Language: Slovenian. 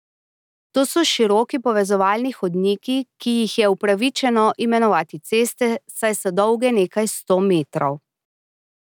To so široki povezovalni hodniki, ki jih je upravičeno imenovati ceste, saj so dolge nekaj sto metrov.